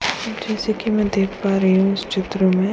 जैसे कि मैं देख पा रही हूँ इस चित्र में --